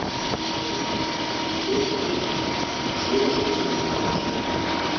Leikurinn verður í beinni sjónvarpsútsendingu á Sýn.